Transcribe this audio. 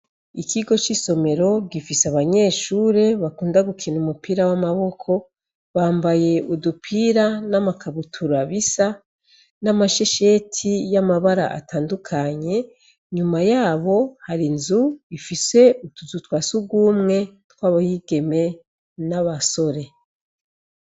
Ikigo cisomero gifise abanyeshure bakunda gukina umupira wamaboko, bambaye udupira n'amakabutura bisa n'amashesheti yamabara atandukanye, inyuma yabo hari nzu ifise utuzu twasugumwe tw'abigeme nabasore.